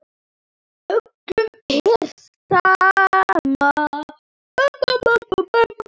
Öllum sama.